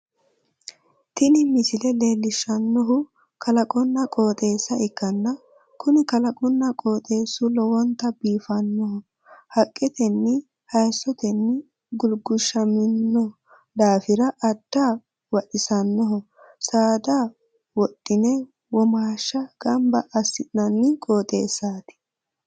tini misile leellishshannohu kalaqonna qooxeessa ikkanna, kuni kalaqunna qooxeessu lowontanni biifannoho, haqqetenni hayiisotenni gulgulshiishamino daafira adda vaxisannoho, saada wodhi'ne womashsha gamba assi'nanni qooxeesaati.